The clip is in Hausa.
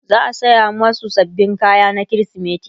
za'a saya masu sababbin kaya na krismeti